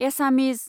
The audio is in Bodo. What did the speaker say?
एसामिज